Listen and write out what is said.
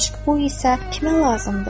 Əgər eşq bu isə, kimə lazımdır?